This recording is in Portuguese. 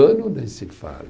Ano nem se fala.